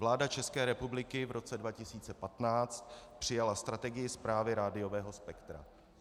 Vláda České republiky v roce 2015 přijala strategii správy rádiového spektra.